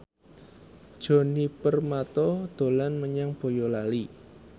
Djoni Permato dolan menyang Boyolali